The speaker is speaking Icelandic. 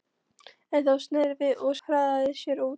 En þá sneri hann sér við og hraðaði sér út.